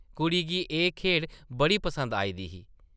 कुड़ी गी एह् खेढ बड़ी पसंद आई दी ही ।